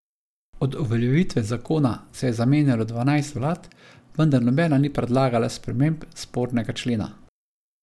Od uveljavitve zakona se je zamenjalo dvanajst vlad, vendar nobena ni predlagala sprememb spornega člena.